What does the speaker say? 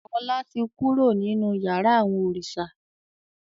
Ọlá tí kúrò nínú yàrá àwọn òrìṣà.